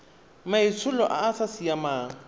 maitsholo a a sa siamang